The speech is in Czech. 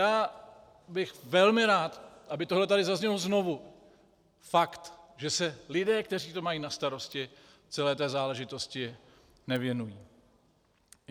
Já bych velmi rád, aby tohle tady zaznělo znovu, fakt, že se lidé, kteří to mají na starosti, celé té záležitosti nevěnují.